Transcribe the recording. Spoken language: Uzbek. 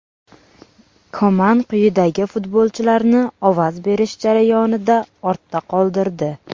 Koman quyidagi futbolchilarni ovoz berish jarayonida ortda qoldirdi: !